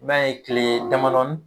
M'a ye kile damadɔni